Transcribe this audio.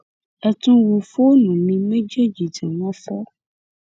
ẹ tún wo fóònù mi méjèèjì tí wọn fọ